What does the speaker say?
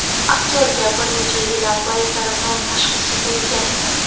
Aktyorga bir necha yil avval saraton tashxisi qo‘yilgan edi.